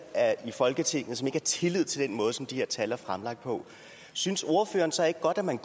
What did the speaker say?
i folketinget som ikke har tillid til den måde som de her tal er fremlagt på synes ordføreren så ikke godt at man